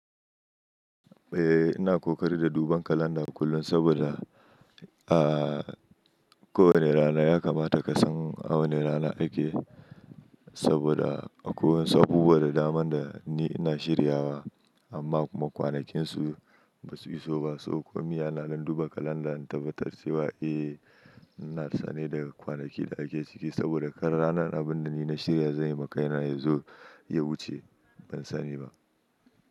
Eh, ina kokari da duban kalanda kullum saboda, a kowane rana ya kamata ka san a wane rana ake, saboda akwai wasu abubuwa da daman da ni ina shirya wa amma kuma kwanakinsu basu iso ba. Sabo kuma yana nan duba kalanda in tabbatar cewa eh, ina sane da kwanakin da ake ciki saboda kar ranar abun da ni na shirya zan yi wa kai na yanzu ya wuce ban sani ba.